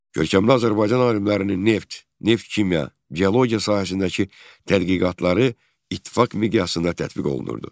Görkəmli Azərbaycan alimlərinin neft, neft kimya, geologiya sahəsindəki tədqiqatları İttifaq miqyasında tətbiq olunurdu.